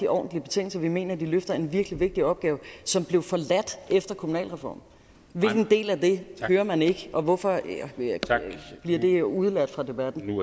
ordentlige betingelser vi mener at de løfter en virkelig vigtig opgave som blev forladt efter kommunalreformen hvilken del af det hører man ikke og hvorfor bliver det udeladt fra debatten